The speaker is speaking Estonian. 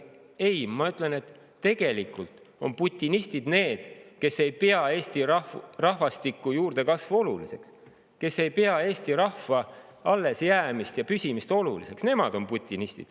Ei, ma ütlen, et tegelikult on putinistid need, kes ei pea Eesti rahvastiku juurdekasvu oluliseks, kes ei pea eesti rahva allesjäämist ja püsimist oluliseks, nemad on putinistid.